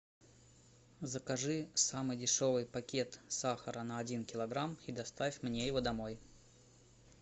закажи самый дешевый пакет сахара на один килограмм и доставь мне его домой